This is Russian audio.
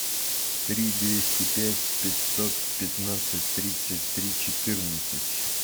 три двести пять пятьсот пятнадцать тридцать три четырнадцать